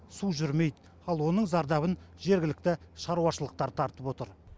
су жүрмейді ал оның зардабын жергілікті шаруашылықтар тартып отыр